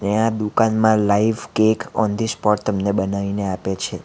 અને આ દુકાનમાં live cake on the spot તમને બનાવીને આપે છે.